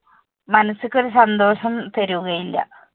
മനസ്സിന് ഒരു സന്തോഷം തരുകയില്ല.